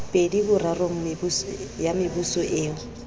pedi borarong ya mebuso eo